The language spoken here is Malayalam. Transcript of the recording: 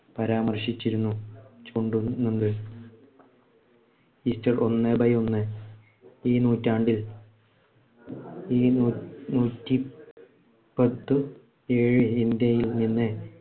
പരാമർശിച്ചിരുന്നു. ഒന്ന് by ഒന്ന് ഈ നൂറ്റാണ്ടിൽ ഈ നൂറ്റി പത്തു ഏഴിന്‍ടെയില്‍ നിന്ന്